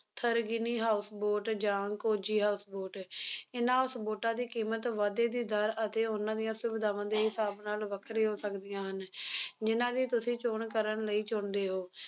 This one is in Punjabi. tharangini houseboat ਜਾਂ Kochi houseboat ਇਹਨਾ ਬੋਟਾਂ ਦੀ ਕੀਮਤ ਵਾਧੇ ਦੀ ਦਰ ਤੇ ਉਹਨਾਂ ਦੀਆਂ ਸੁਵਿਧਾਵਾਂ ਦੇ ਹਿਸਾਬ ਨਾਲ ਵੱਖਰੀ ਹੋ ਸਕਦੀਆਂ ਹਨ ਜਿੰਨਾ ਦੀ ਤੁਸੀ ਚੌਣ ਕਰਨ ਲਈ ਚੁਣਦੇ ਹੋ